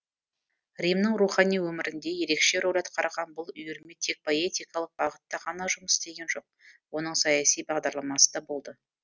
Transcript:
римнің рухани өмірінде ерекше рөл атқарған бұл үйірме тек поэтикалық бағытта ғана жұмыс істеген жоқ оның саяси бағдарламасы да болды